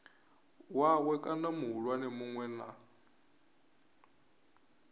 wawe kana muhulwane munwe na